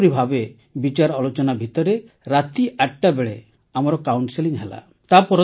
ଏହିପରି ଭାବେ ବିଚାରଆଲୋଚନା ଭିତରେ ରାତି ୮ଟା ବେଳେ ଆମର କାଉନ୍ସେଲସିଂ ହେଲା